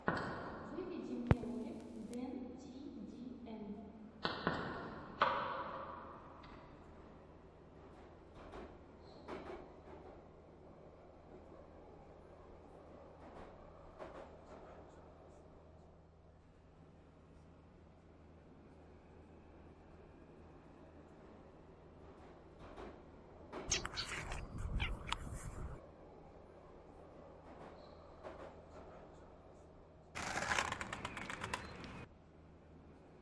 выведи мне ролик дэн ти ди эм